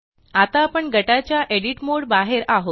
आता आपण गटाच्या एडिट मोड बाहेर आहोत